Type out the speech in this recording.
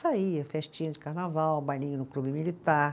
Saía festinha de carnaval, bailinho no clube militar.